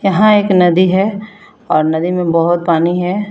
यहां एक नदी है और नदी में बहोत पानी है।